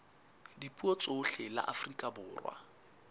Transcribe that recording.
dipuo tsohle la afrika borwa